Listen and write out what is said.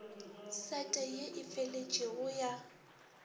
sete ye e feletšego ya